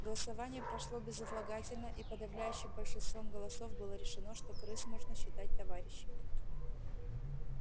голосование прошло безотлагательно и подавляющим большинством голосов было решено что крыс можно считать товарищами